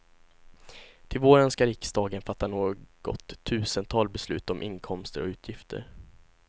Till våren ska riksdagen fatta något tusental beslut om inkomster och utgifter.